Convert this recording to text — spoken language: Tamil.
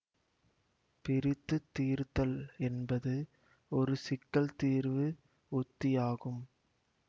பிரித்துத் தீர்த்தல் என்பது ஒரு சிக்கல் தீர்வு உத்தி ஆகும்